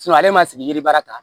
ale ma sigi yiri baara kan